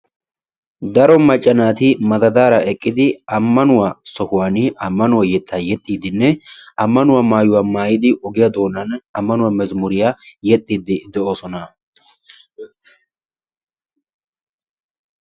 Daro macca naati madadaara eqqidi ammanuwa sohuwaani ammanuwa yettaa yexxiiddinne ammanuwa maayuwa maayidi ogiya doonan ammanuwa mezmuriya yexxiiddi de'oosona.